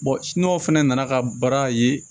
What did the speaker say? sunɔgɔ fɛnɛ nana ka baara ye